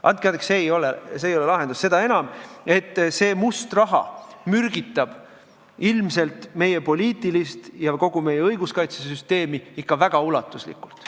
Andke andeks, see ei ole lahendus, seda enam, et see must raha mürgitab ilmselt meie poliitilist süsteemi ja kogu meie õiguskaitsesüsteemi ikka väga ulatuslikult.